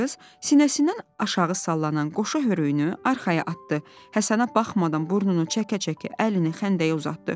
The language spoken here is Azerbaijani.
Qız sinəsindən aşağı sallanan qoşa hörüyünü arxaya atdı, Həsənə baxmadan burnunu çəkə-çəkə əlini xəndəyə uzatdı.